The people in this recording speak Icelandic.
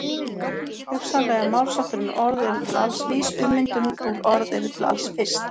Hugsanlega er málshátturinn orð eru til alls vís ummyndum úr orð eru til alls fyrst.